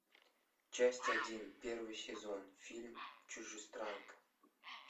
часть один первый сезон фильм чужестранка